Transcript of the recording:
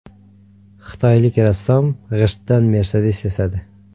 Xitoylik rassom g‘ishtdan Mercedes yasadi.